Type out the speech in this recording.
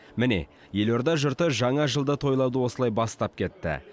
міне елорда жұрты жаңа жылды тойлауды осылай бастап кетті